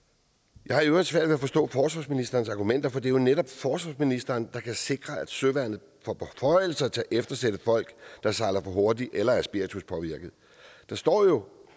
jeg har i øvrigt svært ved forstå forsvarsministerens argumenter for det er jo netop forsvarsministeren der kan sikre at søværnet får beføjelser til at eftersætte folk der sejler for hurtigt eller er spirituspåvirkede der står jo